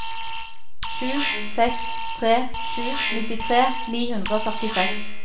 sju seks tre sju nittitre ni hundre og førtiseks